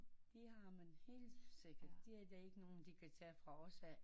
Det har man helt sikkert det er der ikke nogen der kan tage fra os af